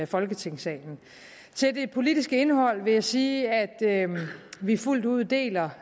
folketingssalen til det politiske indhold vil jeg sige at vi fuldt ud deler